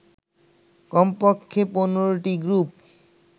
কমপক্ষে ১৫টি গ্রুপ